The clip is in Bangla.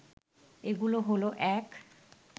এগুলো হল ১